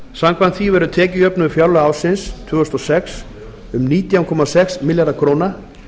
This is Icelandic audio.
samkvæmt því verður tekjujöfnuður fjárlaga ársins tvö þúsund og sex um nítján komma sex milljarðar króna